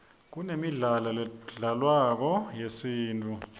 kunemidlalo ledlalwako yesintfu